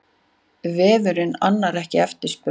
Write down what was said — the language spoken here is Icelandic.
Vefurinn annar ekki eftirspurn